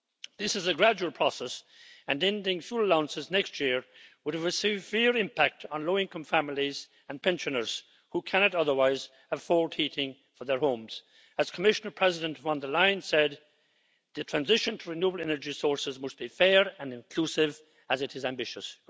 This is a gradual process, and ending fuel allowances next year would have a severe impact on low income families and pensioners who cannot otherwise afford heating for their homes. As Commission President von der Leyen said The transition to renewable energy sources must be fair and inclusive, as it is ambitious'.